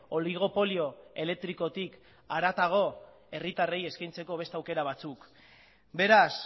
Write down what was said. oligopolio elektrikotik haratago herritarrei eskaintzeko beste aukera batzuk beraz